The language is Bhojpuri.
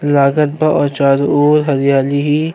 लागत बा ओ चारो ओर हरियाली ही --